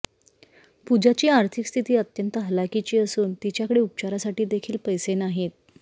पूजाची आर्थिक स्थिती अत्यंत हलाखीची असून तिच्याकडे उपचारासाठी देखील पैसे नाहीत